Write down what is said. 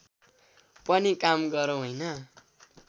पनि काम गरौं हैन